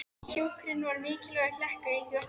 Hjúkrun var mikilvægur hlekkur í því verkefni.